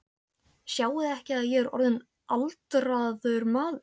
Sjáiði ekki að ég er orðinn aldraður maður?